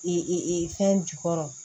fɛn jukɔrɔ